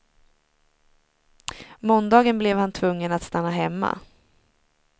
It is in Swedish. Måndagen blev han tvungen att stanna hemma.